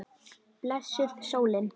Blessuð sólin.